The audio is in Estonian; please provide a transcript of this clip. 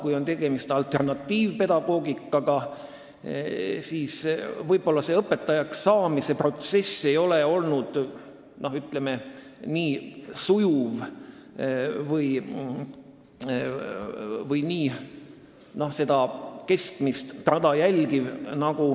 Kui tegemist on alternatiivpedagoogikaga, siis ei pruugi õpetajaks saamise protsess olla nii sujuv või keskmist rada järgiv.